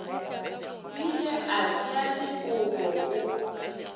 bile a tšea dikobo o